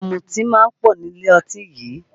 Ọ̀mùtí máa ń pọ̀ nílé ọtí yìí